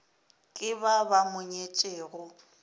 ke ba ba mo nyetšego